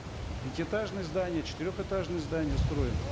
пятиэтажные здания четырехэтажные здания строим